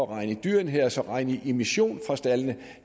regner i dyreenheder så kunne regne i emissioner fra staldene